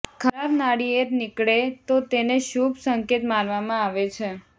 ખરાબ નાળિયેર નીકળે તો તેને શુભ સંકેત માનવામાં આવે છે